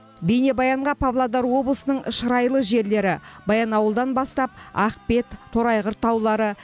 бейнебаянға павлодар облысының шырайлы жерлері баянауылдан бастап ақбет торайғыр таулары